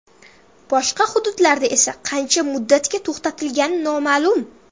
Boshqa hududlarda esa qancha muddatga to‘xtatilgani noma’lum.